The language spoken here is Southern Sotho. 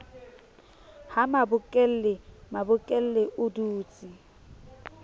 ha mabokelle mabokelle o dutse